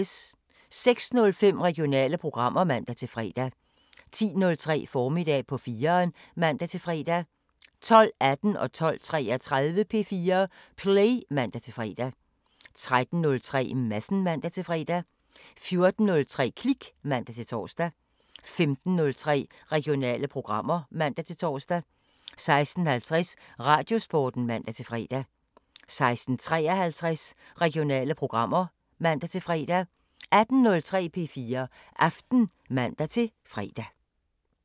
06:05: Regionale programmer (man-fre) 10:03: Formiddag på 4'eren (man-fre) 12:18: P4 Play (man-fre) 12:33: P4 Play (man-fre) 13:03: Madsen (man-fre) 14:03: Klik (man-tor) 15:03: Regionale programmer (man-tor) 16:50: Radiosporten (man-fre) 16:53: Regionale programmer (man-fre) 18:03: P4 Aften (man-fre)